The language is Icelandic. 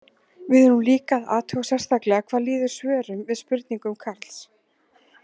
Við erum líka að athuga sérstaklega hvað líður svörum við spurningum Karls.